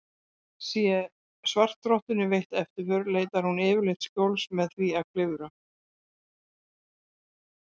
Sé svartrottunni veitt eftirför leitar hún yfirleitt skjóls með því að klifra.